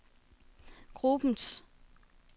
gruppens